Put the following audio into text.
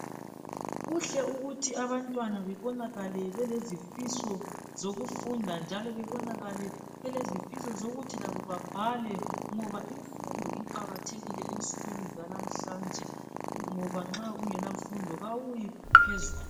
Kuhle ukuthi abantwana bebonakale belezifiso zokufunda njalo bebonakale belezifiso zokuthi labo bebhale ngoba imfundo iqakathekile ensukwini zalamhlanje ngoba nxa ungelamfundo kawuyi phezulu.